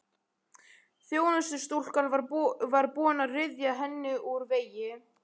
Þjónustustúlkan var búin að ryðja henni úr vegi.